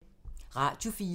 Radio 4